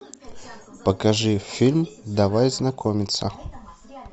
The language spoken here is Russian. покажи фильм давай знакомиться